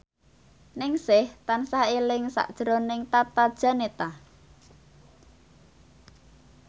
Ningsih tansah eling sakjroning Tata Janeta